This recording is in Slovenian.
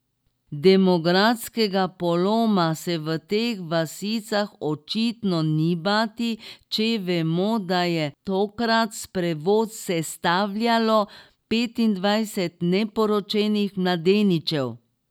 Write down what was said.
Demografskega poloma se v teh vasicah očitno ni bati, če vemo, da je tokrat sprevod sestavljalo petindvajset neporočenih mladeničev.